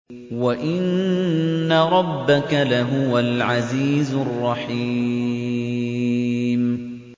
وَإِنَّ رَبَّكَ لَهُوَ الْعَزِيزُ الرَّحِيمُ